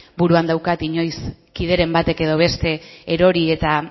buruan daukat inoiz kideren batek edo beste erori eta